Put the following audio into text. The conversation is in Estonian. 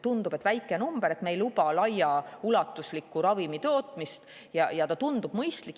Tundub, et on väike number, me ei luba laiaulatuslikku ravimitootmist, ja see tundub mõistlik.